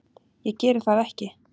Ég geri það ekki.